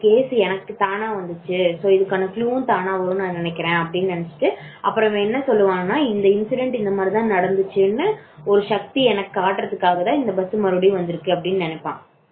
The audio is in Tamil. case எனக்கு தானா வந்துச்சு இதற்கான குழுவும் தானா வரும்னு நினைக்கிறேன் அப்புறம் அவன் என்ன சொல்லுவான் என்றால் இந்த incident இந்த மாதிரி தான் நடந்துச்சு ஒரு சக்தி எனக்காக காட்டுறதுக்காக தான் இந்த bus மறுபடியும் வந்து இருக்கு அப்படி நினைப்பான்